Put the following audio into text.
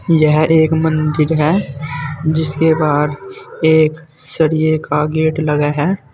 यह एक मंदिर है जिसके बाहर एक सरिये का गेट लगा है।